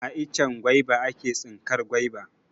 A icen gwaiba a ke tsinkar gwaiba.